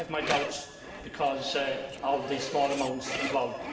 I have my doubts, because of the small amounts involved